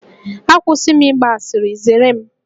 Akwụsị m ịgba asịrị, zere m!